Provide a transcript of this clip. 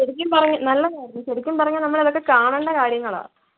ശരിക്കും പറയാ നല്ലതായിരുന്നു ശരിക്കും പറഞാ നമ്മളതൊക്കെ കാണണ്ട കാര്യങ്ങളാ